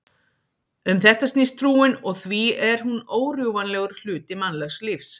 Um þetta snýst trúin og því er hún órjúfanlegur hluti mannlegs lífs.